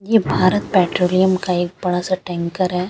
ये भारत पेट्रोलिम का एक बड़ा सा टेंकर है ।